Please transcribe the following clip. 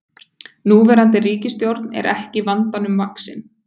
Núverandi ríkisstjórn er ekki vandanum vaxin